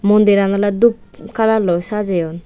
mondiran ole doob kalarloi sajeyon.